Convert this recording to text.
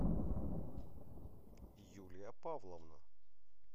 юлия павловна